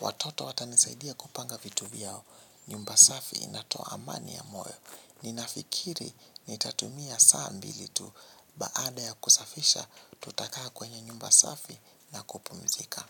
Watoto watanisaidia kupanga vitu vyao, nyumba safi inatoa amani ya moyo. Ninafikiri nitatumia saa mbili tu baada ya kusafisha tutakaa kwenye nyumba safi na kupumzika.